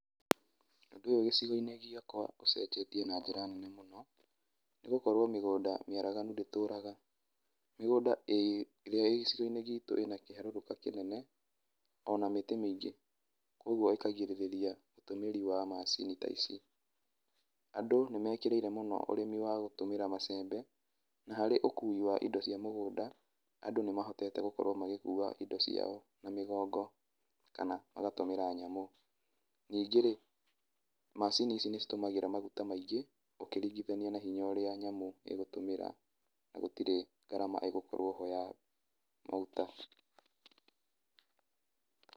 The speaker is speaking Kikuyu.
Ũndũ ũyũ gĩcigo-inĩ gĩakwa ucenjetie na njĩra nene mũno, nĩgũkorwo mĩgũnda mĩaraganu ndĩtũraga. Mĩgũnda ĩ, ĩrĩa ĩ gĩcigo-inĩ gitũ ĩna kĩharũrũka kĩnene, ona mĩtĩ mĩingĩ. Koguo ĩkagirĩrĩa ũtũmĩri wa macini ta ici. Andũ nĩmekĩrĩire mũno ũrĩmi wa gũtũmĩra macembe, na harĩ ũkui wa indo cia mũgũnda, andũ nĩmahotete gũkorwo magĩkua indo ciao na mĩgongo kana magatũmĩra nyamũ. Ningĩ-rĩ, macini ici nĩcitũmagĩra maguta maingĩ ũkĩrigithania na hinya ũrĩa nyamũ ĩgũtũmĩra, na gũtirĩ gharama ĩgũkorwo ho ya maguta